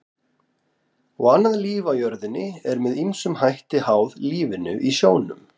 Og annað líf á jörðinni er með ýmsum hætti háð lífinu í sjónum.